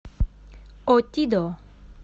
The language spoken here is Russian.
отидо